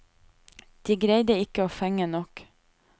De greide ikke å fenge nok.